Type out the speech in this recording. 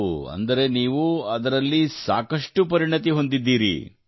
ಓಹ್ ಅಂದರೆ ನೀವು ಅದನ್ನು ಸಾಕಷ್ಟು ಪರಿಣಿತಿ ಹೊಂದಿದ್ದೀರಿ